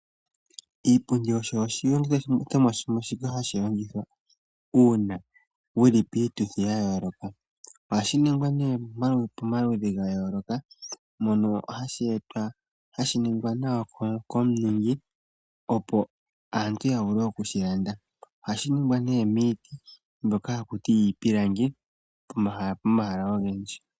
Iipundi osho oshilongithomwa shimwe shoka hashi longithwa uuna wuli piituthi yayooloka. Ohashi ningwa nee pomaludhi gayooloka mono hashi ningwa nawa komuningi opo aantu yavule okushi landa. Ohashi ningwa miiti mbyoka haku tiwa iipilangi pomahala ogendji.